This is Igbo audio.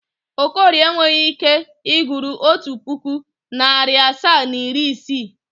Okorie enweghi ike ịgụrụ otu pụkụ, narị asaa na iri isii.